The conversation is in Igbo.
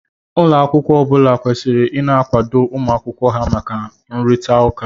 Ụlọ akwụkwọ ọbula kwesịrị ina akwado ụmụ akwụkwọ ha maka nrurita ụka